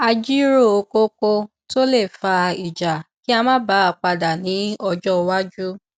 a jíròrò kókó tó le fa ìjà kí a má bà a padà ní ọjọ iwájú